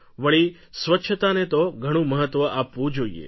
વળી સ્વચ્છતાને તો ઘણું મહત્વ આપવું જોઈએ